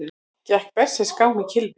Gekk berserksgang með kylfu